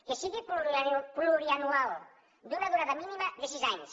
que sigui plurianual d’una durada mínima de sis anys